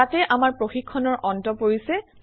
ইয়াতে আমাৰ প্ৰশিক্ষণৰ অন্ত পৰিছে